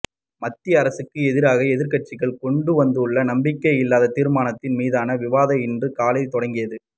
மத்திய அரசுக்கு எதிராக எதிர்க்கட்சிகள் கொண்டுவந்துள்ள நம்பிக்கையில்லா தீர்மானத்தின் மீதான விவாதம் இன்று காலை தொடங்கியது